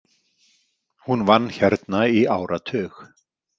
Hún vann hérna í áratug.